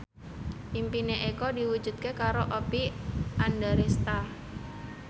impine Eko diwujudke karo Oppie Andaresta